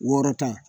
Wɔɔrɔ tan